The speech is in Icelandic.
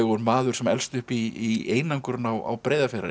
maður sem elst upp í einangrun á Breiðafjarðareyju og